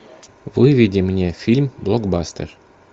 выведи мне фильм блокбастер